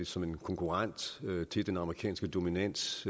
som en konkurrent til den amerikanske dominans